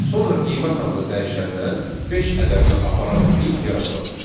Sonra qiymət adlı dəyişəndən beş ədədini aparan link yaradılacaq.